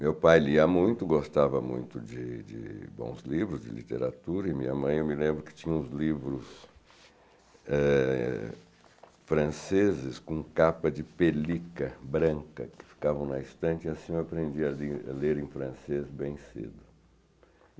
Meu pai lia muito, gostava muito de de bons livros, de literatura, e minha mãe, eu me lembro que tinha uns livros, eh franceses com capa de pelica branca, que ficavam na estante, e assim eu aprendi a ler em francês bem cedo.